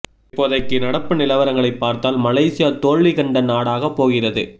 இப்போதைக்கு நடப்பு நிலவரங்களைப் பார்த்தால் மலேசியா தோல்வி கண்ட நாடாகப் போகிறது